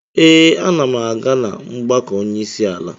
Ee, ana m aga na mgbakọ onyeisiala.